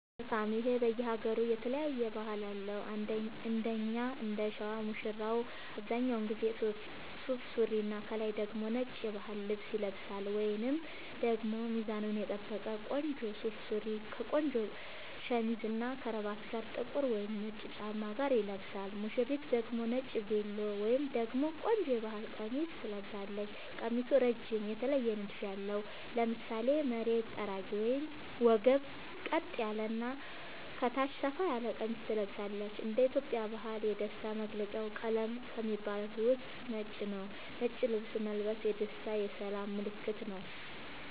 መልካም ይሄ በየ ሃገሩ የተለያየ ባህል አለው እንደኛ እንደሸዋ ሙሽራው አብዛኛውን ጊዜ ሱፍ ሱሪና ከላይ ደግሞ ነጭ የባህል ልብስ ይለብሳልወይንም ደግሞ ሚዛኑን የጠበቀ ቆንጆ ሱፍ ሱሪ ከቆንጆ ሸሚዝ እና ከረባት ጋር ጥቁር ወይም ነጭ ጫማ ጋር ይለብሳል ሙሽሪት ደግሞ ነጭ ቬሎ ወይም ደግሞ ቆንጆ የባህል ቀሚስ ትለብሳለች ቀሚሱ እረጅም የተለየ ንድፍ ያለው ( ለምሳሌ መሬት ጠራጊ ወገብ ቀጥ ያለ እና ከታች ሰፋ ያለ ቀሚስ ትለብሳለች )እንደ ኢትዮጵያ ባህል የደስታ መገልውጫ ቀለም ከሚባሉት ውስጥ ነጭ ነዉ ነጭ ልብስ መልበስ የደስታ የሰላም ምልክትም ነዉ